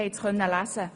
Das konnten Sie lesen.